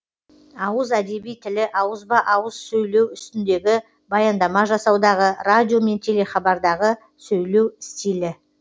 ауыз әдеби тілі ауызба ауыз сөйлеу үстіндегі баяндама жасаудағы радио мен телехабардағы сөйлеу стилі